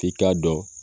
F'i k'a dɔn